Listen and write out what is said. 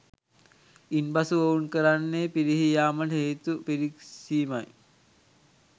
ඉන්පසු ඔවුන් කරන්නේ පිරිහී යාමට හේතු පිරික්සීමයි